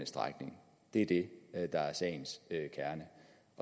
strækning det er det der er sagens kerne